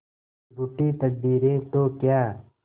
रूठी तकदीरें तो क्या